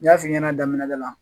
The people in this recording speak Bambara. N y'a f'i ɲɛna daminɛ da la